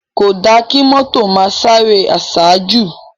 Kódá ki mòtó má sáré àsájú